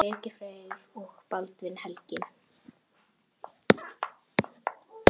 Birgir Freyr og Baldvin Helgi.